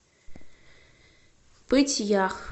пыть ях